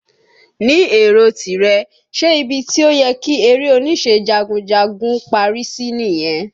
Ni èrò tìrẹ, ṣe ibi tí ó yẹ kí eré oníṣe jagunjagun ó parí sí nìyẹn?